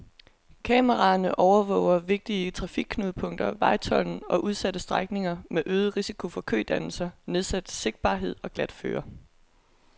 Kameraerne overvåger vigtige trafikknudepunkter, vejtolden og udsatte strækninger med øget risiko for kødannelser, nedsat sigtbarhed og glatføre.